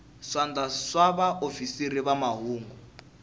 swandla swa vaofisiri va mahungu